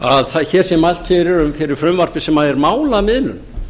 að hér sé mælt fyrir frumvarpi sem er málamiðlun